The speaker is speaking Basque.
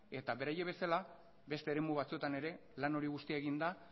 eta beraiek bezala beste eremu batzuetan ere lan hori guztia egin da